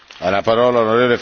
Herr Präsident!